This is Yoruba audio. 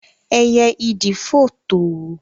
éyé idì fò to.